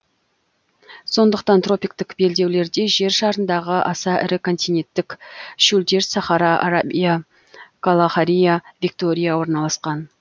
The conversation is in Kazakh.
сондықтан тропиктік белдеулерде жер шарындағы аса ірі континенттік шөлдер сахара арабия калахари виктория орналасқан